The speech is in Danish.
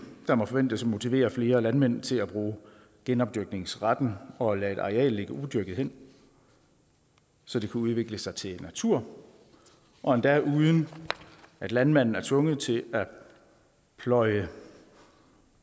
der må forventes at motivere flere landmænd til at bruge genopdyrkningsretten og lade et areal ligge udyrket hen så det kan udvikle sig til natur og endda uden at landmanden er tvunget til at pløje